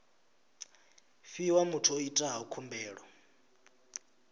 fhiwa muthu o itaho khumbelo